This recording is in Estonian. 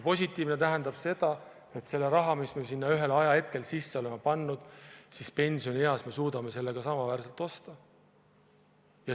Positiivne tähendab seda, et selle rahaga, mis me sinna ühel hetkel sisse oleme pannud, suudame me pensionieas samaväärselt osta.